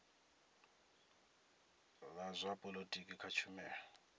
la zwa polotiki kha tshumelo